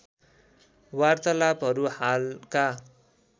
वार्तालापहरू हालका